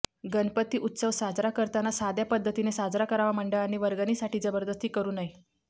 गणपती उत्सव साजरा करताना साध्या पद्धतीने साजरा करावा मंडळांनी वर्गणीसाठी जबरदस्ती करू नये